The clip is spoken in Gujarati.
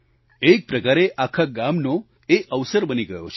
એક પ્રકારે આખા ગામનો એ અવસર બની ગયો છે